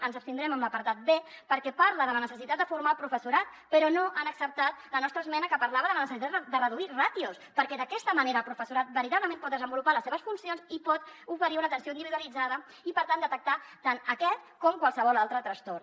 ens abstindrem en l’apartat b perquè parla de la necessitat de formar el professorat però no han acceptat la nostra esmena que parlava de la necessitat de reduir ràtios perquè d’aquesta manera el professorat veritablement pot desenvolupar les seves funcions i pot oferir una atenció individualitzada i per tant detectar tant aquest com qualsevol altre trastorn